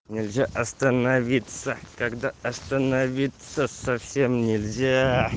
нельзя остановиться когда остановиться совсем нельзя